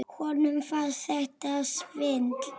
Honum fannst þetta svindl.